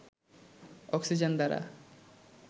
oxygen দ্বারা